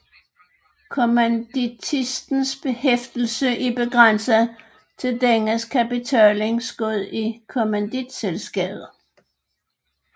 Kommanditistens hæftelse er begrænset til dennes kapitalindskud i kommanditselskabet